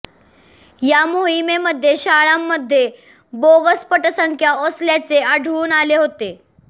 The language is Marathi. या मोहिमेमध्ये शाळांमध्ये बोगस पटसंख्या असल्याचे आढळून आले होते